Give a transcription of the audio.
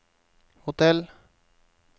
hotell